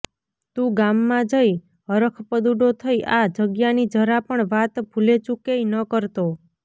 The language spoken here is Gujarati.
તું ગામમાં જઈ હરખપદૂડો થઈ આ જગ્યાની જરા પણ વાત ભૂલેચૂકેય ન કરતો